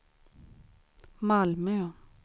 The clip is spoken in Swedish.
Malmö